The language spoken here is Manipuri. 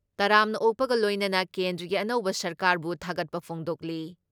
ꯇꯔꯥꯝꯅ ꯑꯣꯛꯄꯒ ꯂꯣꯏꯅꯅ ꯀꯦꯟꯗ꯭ꯔꯒꯤ ꯑꯅꯧꯕ ꯁꯔꯀꯥꯔꯕꯨ ꯊꯥꯒꯠꯄ ꯐꯣꯡꯗꯣꯛꯂꯤ ꯫